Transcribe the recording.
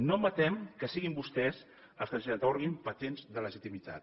no admetem que siguin vostès els que ens atorguin patents de legitimitat